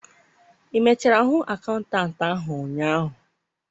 ị mechara hụ akaụntantị ahụ ụnyaahụ?